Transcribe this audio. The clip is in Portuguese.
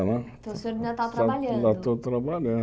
Né Então o senhor ainda está trabalhando? Ainda estou